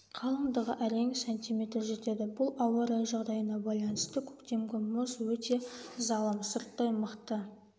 қалындығы әрең см жетеді бұл ауа райы жағдайына байланысты көктемгі мұз өте залым сырттай мықты